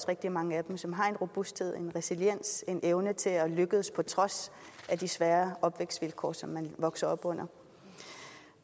rigtig mange som har en robusthed en resiliens en evne til at lykkes på trods af de svære opvækstvilkår som de vokser op under